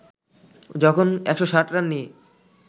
যখন ১৬০ রান নিয়ে